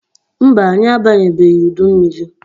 Mba, anyị abanyebeghi udu mmiri.